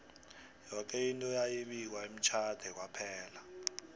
yoke into yayi bikwa emtjhade kwaphela